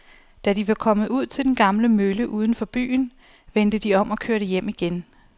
Da de var kommet ud til den gamle mølle uden for byen, vendte de om og kørte hjem igen.